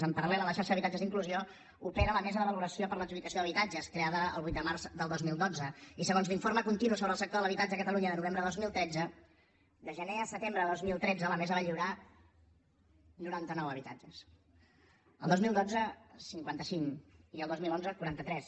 en paralmesa de valoració per a l’adjudicació d’habitatges creada el vuit de març del dos mil dotze i segons l’informe continu sobre el sector de l’habitatge a catalunya de novembre de dos mil tretze de gener a setembre de dos mil tretze la mesa va lliurar noranta nou habitatges el dos mil dotze cinquanta cinc i el dos mil onze quaranta tres